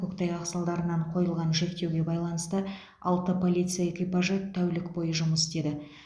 көктайғақ салдарынан қойылған шектеуге байланысты алты полиция экипажы тәулік бойы жұмыс істеді